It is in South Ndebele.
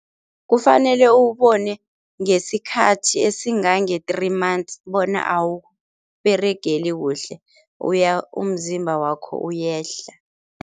Kufanele uwubone ngesikhathi esingange-three months bona awukUberegeli kuhle umzimba wakho uyehla.